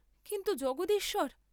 কিন্তু, জগদীশ্বর!